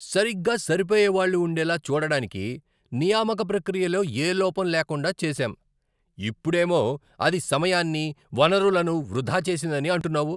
సరిగ్గా సరిపోయేవాళ్ళు ఉండేలా చూడడానికి నియామక ప్రక్రియలో ఏ లోపం లేకుండా చేసాం, ఇప్పుడేమో అది సమయాన్ని, వనరులను వృధా చేసిందని అంటున్నావు.